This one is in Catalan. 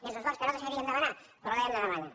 és un esforç que no desitjaríem demanar però l’hem de demanar